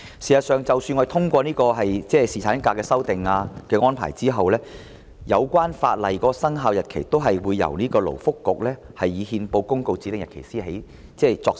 事實上，即使我們通過侍產假的修訂安排，有關法例的生效日期也會由勞工及福利局以憲報公告指定日期開始作實。